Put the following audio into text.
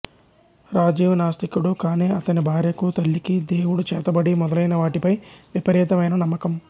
రాజీవ్ నాస్తికుడు కానీ అతని భార్యకూ తల్లికీ దేవుడు చేతబడి మొదలైనవాటిపై విపరీతమైన నమ్మకం